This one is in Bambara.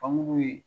Famori